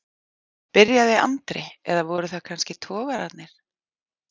byrjaði Andri, eða voru það kannski togararnir?